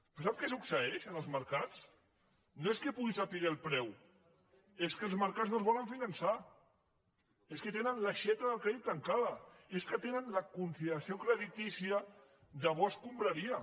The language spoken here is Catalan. però sap què succeeix en els mercats no és que pugui saber el preu és que els mercats no els volen finançar és que tenen l’aixeta del crèdit tancada és que tenen la consideració creditícia de bo escombraria